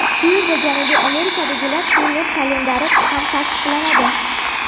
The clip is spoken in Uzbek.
Shu yerda Janubiy Amerikadagi turnir kalendari ham tasdiqlanadi.